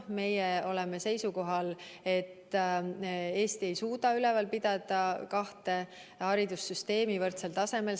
Meie oleme seisukohal, et Eesti ei suuda üleval pidada kahte haridussüsteemi võrdsel tasemel.